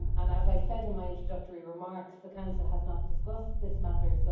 As I said in my introductory remarks, the Council has not discussed this matter